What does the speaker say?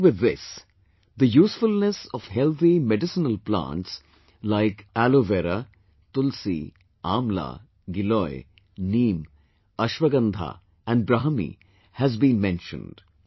Along with this, the usefulness of healthy medicinal plants like Aloe Vera, Tulsi, Amla, Giloy, Neem, Ashwagandha and Brahmi has been mentioned